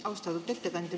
Austatud ettekandja!